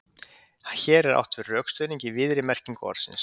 hér er átt við rökstuðning í víðri merkingu orðsins